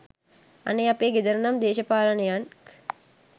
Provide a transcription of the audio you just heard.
අනේ අපේ ගෙදර නම් දේශපාලකයන්